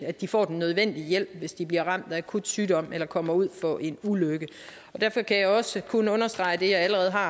at de får den nødvendige hjælp hvis de bliver ramt af akut sygdom eller kommer ud for en ulykke og derfor kan jeg også kun understrege det jeg allerede har